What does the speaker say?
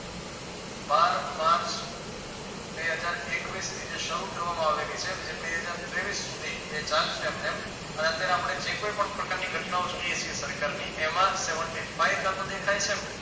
બાર March બે હજાર એકવીશ થી જે શરૂ કરવામાં આવેલી છે જે બે હજાર તેવીશ સુધી એ ચાલશે એમને એમ અને અત્યારે આપણે જે કોઈ પણ પ્રકારની ઘટનાઓ જોઈએ છીએ સરકારની એમાં seventy five કાટો દેખાય છે